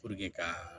ka